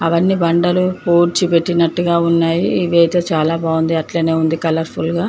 అవన్నీ బండలు పూడ్చి పెట్టినట్టుగా ఉన్నాయ్. ఏదైతే చాలా బాగుంది. అట్లనే ఉంది కలర్ ఫుల్ గ.